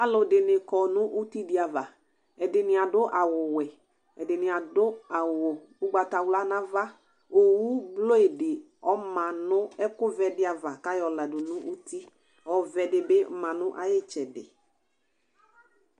Alʋɛdɩnɩ kɔ nʋ ivi ava, ɛdɩnɩ adʋ awʋ wɛ, ɛdɩnɩ adʋ awʋ ʊgbatawlaOwu blue dɩ ɔma nʋ ɛkʋ vɛ dɩ ava kʋ ayɔ ladʋ nʋ uti, ɔvɛ, dɩ bɩ ma nʋ ayɩtsɛdɩ